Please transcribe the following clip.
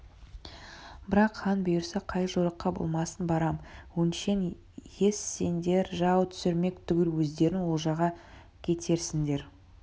бірақ хан бұйырса қай жорыққа болмасын барам өңшең ез сендер жау түсірмек түгіл өздерің олжаға кетерсіңдер